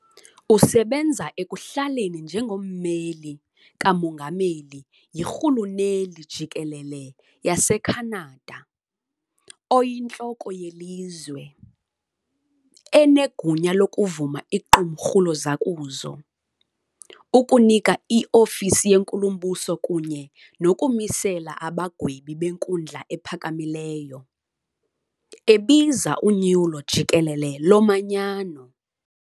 Usebenza ekuhlaleni njengommeli kamongameli yirhuluneli jikelele yaseCanada, "oyintloko" yelizwe, enegunya lokuvuma iqumrhu lozakuzo, ukunika iofisi yenkulumbuso kunye nokumisela abagwebi beNkundla ePhakamileyo, ebiza unyulo jikelele lomanyano.